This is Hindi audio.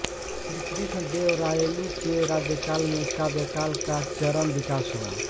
श्री कृष्णदेवरायलु के राज्यकाल में काव्यकला का चरम विकास हुआ